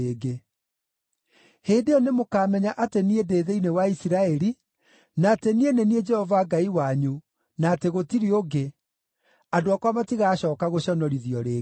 Hĩndĩ ĩyo nĩmũkamenya atĩ niĩ ndĩ thĩinĩ wa Isiraeli, na atĩ niĩ nĩ niĩ Jehova Ngai wanyu, na atĩ gũtirĩ ũngĩ; andũ akwa matigacooka gũconorithio rĩngĩ.